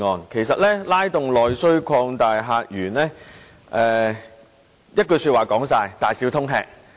其實"拉動內需擴大客源"，說到底就是"大小通吃"。